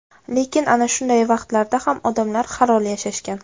Lekin ana shunday vaqtlarda ham odamlar halol yashashgan.